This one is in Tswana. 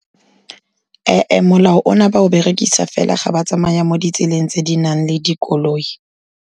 Ee ee, molao ona ba o berekisa fela ga ba tsamaya mo ditseleng tse di nang le dikoloi.